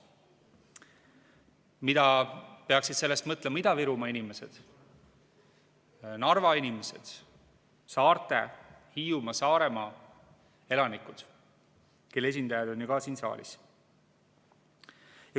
Mida peaksid sellest mõtlema Ida-Virumaa inimesed, Narva inimesed, saarte, Hiiumaa, Saaremaa elanikud, kelle esindajad on ju ka siin saalis?